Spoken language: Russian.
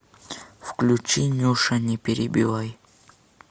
включи нюша не перебивай